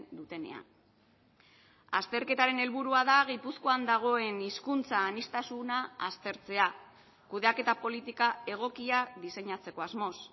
dutenean azterketaren helburua da gipuzkoan dagoen hizkuntza aniztasuna aztertzea kudeaketa politika egokia diseinatzeko asmoz